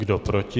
Kdo proti?